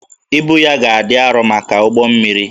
Ibu ya ga-adị arọ maka ụgbọ mmiri